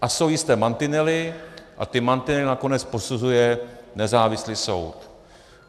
A jsou jisté mantinely a ty mantinely nakonec posuzuje nezávislý soud.